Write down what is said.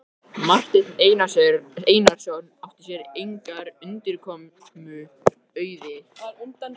Gaf ekki Drottinn sjálfur sigra í styrjöldum?